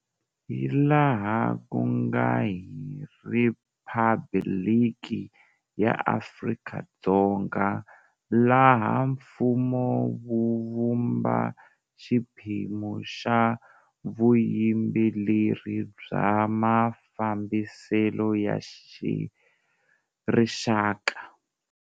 Hi laha ku nga hi Riphabliki ya Afrika-Dzonga laha mfumo wu vumba xiphemu xa vuyimbeleri bya mafambiselo ya rixaka.